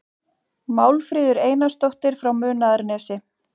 Málfríður Einarsdóttir frá Munaðarnesi